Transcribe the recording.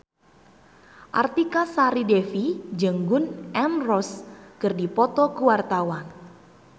Artika Sari Devi jeung Gun N Roses keur dipoto ku wartawan